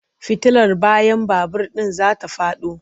Fitilar bayan babur ɗin za ta faɗo.